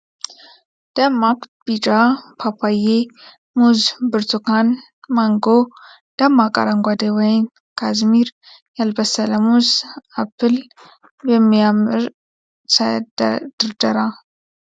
ደማቅ ቢጫ ፓፓዬ ፣ ሙዝ ፣ ብርቱካን ፣ ማንጎ ፤ ደማቅ አረንጓዴ ወይን ፣ ካዝሚር ፣ ያልበሰለ ሙዝ ፣ አፕል በሚያምረሰ ድርደራ